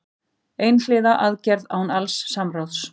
Einhliða aðgerð án alls samráðs